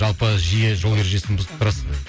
жалпы жиі жол ережесін бұзып тұрасыз ба